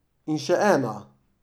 In še ena.